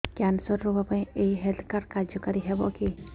cancer ରୋଗ ପାଇଁ ଏଇ ହେଲ୍ଥ କାର୍ଡ କାର୍ଯ୍ୟକାରି ହେବ କି